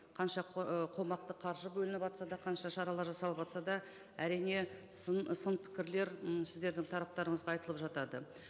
қанша ы қомақты қаржы бөлініватса да қанша шаралар жасалыватса да әрине сын сын пікірлер м сіздердің тараптарыңызға айтылып жатады